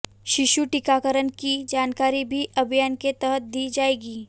शिशु टीकाकरण की जानकारी भी अभियान के तहत दी जाएगी